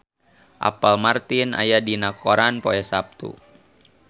Apple Martin aya dina koran poe Saptu